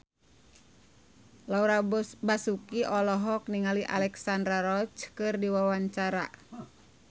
Laura Basuki olohok ningali Alexandra Roach keur diwawancara